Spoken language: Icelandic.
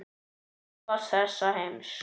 Tæpast þessa heims.